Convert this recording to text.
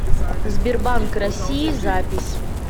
сбербанк россии запись